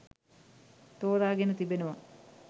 තෝරාගෙන තිබෙනවා.